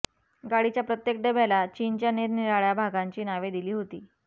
गाडीच्या प्रत्येक डब्याला चीनच्या निरनिराळ्या भागांची नावे दिली होती